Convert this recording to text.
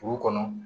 Dugu kɔnɔ